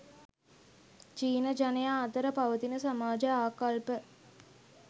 චීන ජනයා අතර පවතින සමාජ ආකල්ප